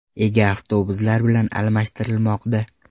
ega avtobuslar bilan almashtirilmoqda .